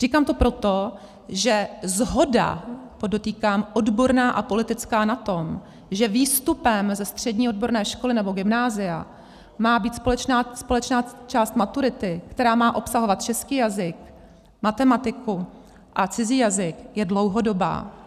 Říkám to proto, že shoda, podotýkám odborná a politická, na tom, že výstupem ze střední odborné školy nebo gymnázia má být společná část maturity, která má obsahovat český jazyk, matematiku a cizí jazyk, je dlouhodobá.